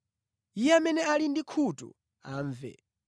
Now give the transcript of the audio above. Iye amene ali ndi makutu amve.